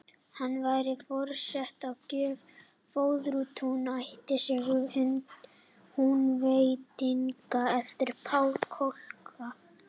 Hann færir forseta að gjöf Föðurtún, ættarsögu Húnvetninga, eftir Pál Kolka.